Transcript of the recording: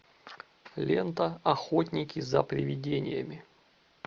лента охотники за привидениями